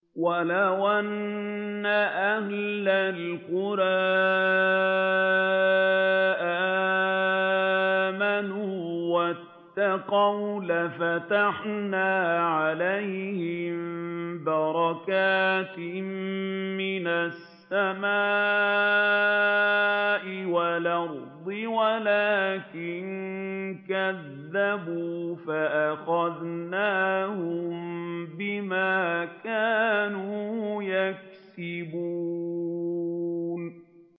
وَلَوْ أَنَّ أَهْلَ الْقُرَىٰ آمَنُوا وَاتَّقَوْا لَفَتَحْنَا عَلَيْهِم بَرَكَاتٍ مِّنَ السَّمَاءِ وَالْأَرْضِ وَلَٰكِن كَذَّبُوا فَأَخَذْنَاهُم بِمَا كَانُوا يَكْسِبُونَ